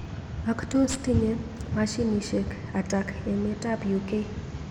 Ak tos tinye mashinishek atak emet ab UK.